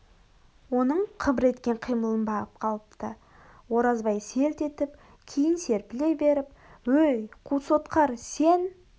оның қыбыр еткен қимылын бағып қалыпты оразбай селт етіп кейін серпіле беріп өй қу сотқар сен